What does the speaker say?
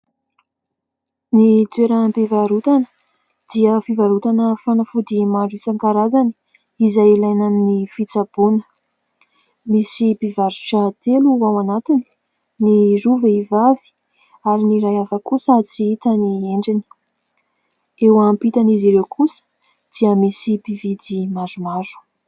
Ny toeram-pivarotana dia fivarotana fanafody maro isankarazany izay ilaina amin'ny fitsaboana. Misy mpivarotra telo ao anatiny : ny roa vehivavy ary ny iray hafa kosa tsy hita ny endriny, eo ampitan'izy ireo kosa dia misy mpividy maromaro.